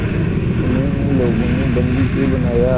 तुम्हें इन लोगों ने बंदी क्यों बनाया